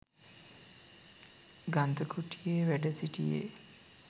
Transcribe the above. ගන්ධකුටියේ වැඩ සිටියේ.